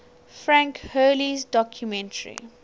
frank hurley's documentary